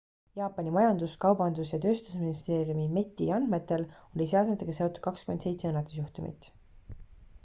jaapani majandus- kaubandus- ja tööstusministeeriumi meti andmetel oli seadmetega seotud 27 õnnetusjuhtumit